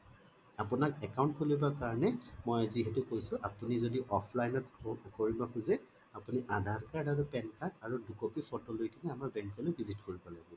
আপুনি account খোলিব কাৰণে মই যিহেটো কৈছোঁ আপুনি যদি offline t কৰিব খোজো আপুনি আধাৰ card বা pan card আৰু দুই copy photo লৈ কিনে আমাৰ bank লৈকে visit কৰিব লাগিব